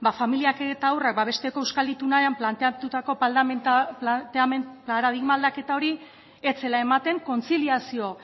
familia eta haurrak babesteko euskal itunean planteatutako paradigma aldaketa hori ez zela ematen kontziliazio